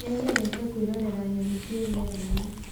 Nĩnyendete kwĩrorera nyoni ciĩ rĩera-inĩ